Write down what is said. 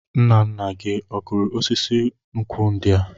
Nna nna gị ọ kụrụ osisi nkwụ ndi a?